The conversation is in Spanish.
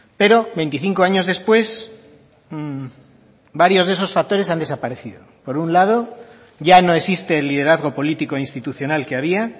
pero veinticinco años después varios de esos factores han desaparecido por un lado ya no existe el liderazgo político institucional que había